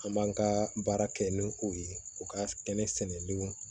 An b'an ka baara kɛ ni o ye u ka kɛnɛ sɛnɛliw